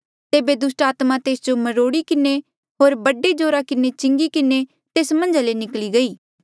तेबे दुस्टात्मा तेस जो मरोड़ी किन्हें होर बड़े जोरा किन्हें चिंगी किन्हें तेस मन्झा ले निकली गई